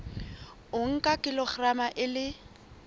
o nka kilograma e le